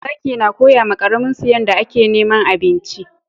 Zaki na koya ma karamin su yanda a ke neman abinci